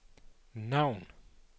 navn